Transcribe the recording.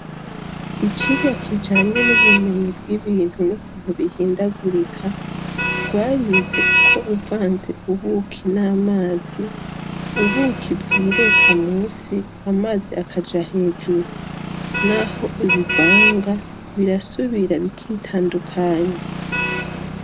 Icigwa kijanye n'ubumenyi bw'ibintu n'ukuntu bihindagurika, twarize ko uvanze ubuki n'amazi, ubuki bwireka musi, amazi akaja hejuru. N'aho ubivanga birasubira bikitandukanya.